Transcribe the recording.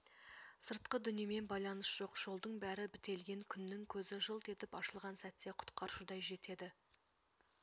сыртқы дүниемен байланыс жоқ жолдың бәрі бітелген күннің көзі жылт етіп ашылған сәтте құтқарушыдай жетеді